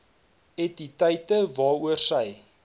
entiteite waaroor sy